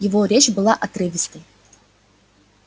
его речь была отрывистой